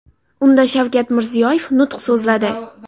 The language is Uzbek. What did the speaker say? Unda Shavkat Mirziyoyev nutq so‘zladi.